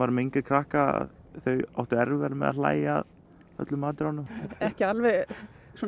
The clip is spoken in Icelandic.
með yngri krakka þau áttu erfiðara með að hlægja að öllum atriðunum ekki alveg svona